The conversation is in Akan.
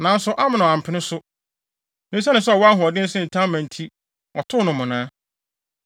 Nanso Amnon ampene so. Na esiane sɛ ɔwɔ ahoɔden sen Tamar nti, ɔtoo no mmonnaa.